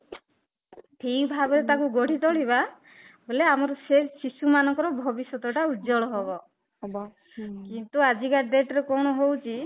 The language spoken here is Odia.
ଠିକ ଭାବରେ ତାକୁ ଗଢି ତୋଳିବା ବୋଲେ ଆମର ସେ ଶିଶୁ ମାନଙ୍କର ଭବିଷ୍ୟତ ଟା ଉଜ୍ଜ୍ଵଳ ହବ ହୁ କିନ୍ତୁ ଆଜି କା date ରେ କଣ ହଉଚି